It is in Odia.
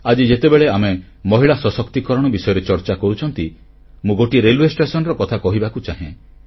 ଆଜି ଯେତେବେଳେ ଆମେ ମହିଳା ସଶକ୍ତିକରଣ ବିଷୟରେ ଚର୍ଚ୍ଚା କରୁଛୁ ମୁଁ ଗୋଟିଏ ରେଲୱେ ଷ୍ଟେସନର କଥା କହିବାକୁ ଚାହେଁ